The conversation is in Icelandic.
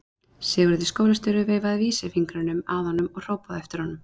Sigurður skólastjóri veifaði vísisfingrinum að honum og hrópaði á eftir honum.